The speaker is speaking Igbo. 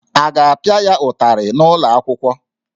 A ga-apịa ya ụtarị n'ụlọ akwụkwọ?